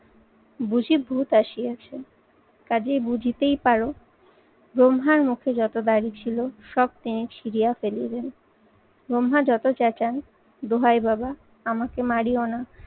বুঝি ভূত আসি আছে। কাজেই বুঝিতেই পারো ব্রহ্মার মুখে যত দাড়ি ছিল সব তিনি ছিরিয়া ফেলিলেন। ব্রহ্মা যত চেঁচান, দোহাই বাবা আমাকে মারিও না